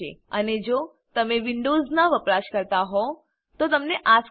અને જો તમે વિન્ડોવ્ઝનાં વપરાશકર્તા હોવ તો તમને આ સ્ક્રીન દેખાશે